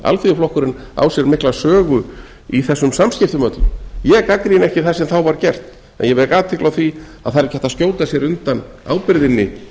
alþýðuflokkurinn á sér mikla sögu í þessum samskiptum öllum ég gagnrýni ekki það sem þá var gert en vek athygli á að það er ekki hægt að skjóta sér undan ábyrgðinni